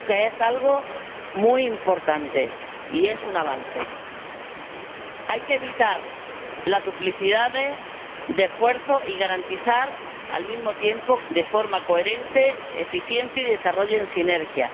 Yo creo que es algo muy importante y es un avance. Hay que evitar las duplicidades de esfuerzo y garantizar al mismo tiempo que se actúe de forma coherente y eficiente y que se desarrollen sinergias.